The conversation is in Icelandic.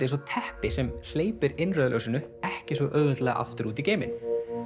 eins og teppi sem hleypir innrauða ljósinu ekki svo auðveldlega aftur út í geiminn